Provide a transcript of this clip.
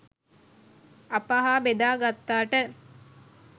අප හා බෙදා ගත්තාට